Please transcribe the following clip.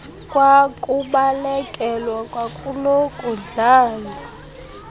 kwakubalekelwa kwakulo kudlalwa